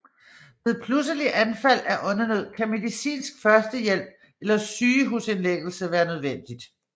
Ved pludselige anfald af åndenød kan medicinsk førstehjælp eller sygehusindlæggelse være nødvendigt